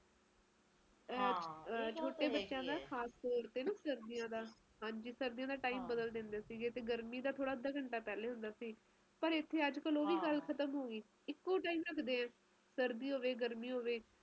ਤੁਸੀਂ ਆ ਕੇ ਦੇਖੋ ਤੇ ਬਰਫ ਪੈਂਦੀ ਹੈ ਤੇ ਏਨਾ ਬੁਰਾ ਹਾਲ ਹੈ ਕੇ ਘਰੋਂ ਬਾਹਰ ਨਿਕਲਣਾ ਔਖਾ ਹੈ ਸਾਡਾ ਏਨੀ ਠੰਡ ਪੈਂਦੀ ਹੈ ਓਥੇ